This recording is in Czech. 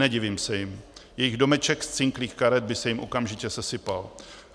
Nedivím se jim, jejich domeček z cinklých karet by se jim okamžitě sesypal.